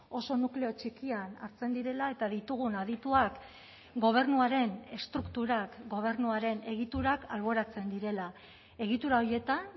oso nukleo txikian hartzen direla eta ditugun adituak gobernuaren estrukturak gobernuaren egiturak alboratzen direla egitura horietan